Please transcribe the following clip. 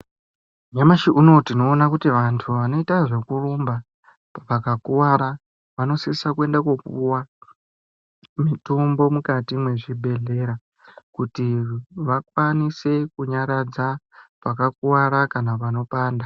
Nyamashi unou tinoona kuti vantu vanoita zvekurumba vakuwara vanosisa kuenda kunopuwa mitombo mukati mwezvibhehleya kuti vakwanise kunyaradxa pakakuwara kana panopanda.